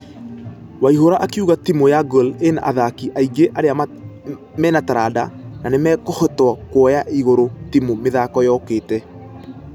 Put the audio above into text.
Waihura akĩuga timũ ya gor ĩna athaki aingĩ arĩa menataranda na nĩmehokĩtwo kuoya igũrũ timũ mĩthako yokĩte.